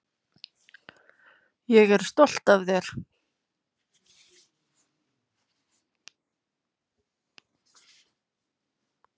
Ég er stolt af þér.